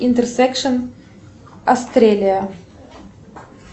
интерсекшен астрелия